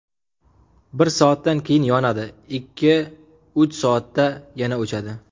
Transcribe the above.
Bir soatdan keyin yonadi, ikki–uch soatda yana o‘chadi.